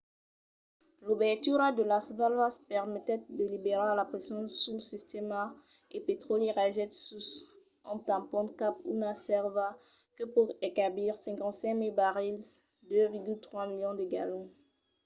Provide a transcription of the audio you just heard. l’obertura de las valvas permetèt de liberar la pression sul sistèma e lo petròli ragèt sus un tampon cap a una sèrva que pòt encabir 55 000 barrils 2,3 milions de galons